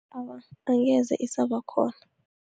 Awa, angeze isabakhona.